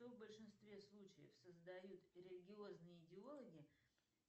что в большинстве случаев создают религиозные идеологи